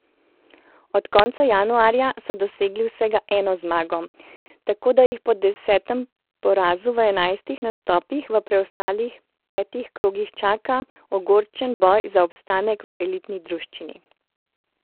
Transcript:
Od konca januarja so dosegli vsega eno zmago, tako da jih po desetem porazu v enajstih nastopih v preostalih petih krogih čaka ogorčen boj za obstanek v elitni druščini.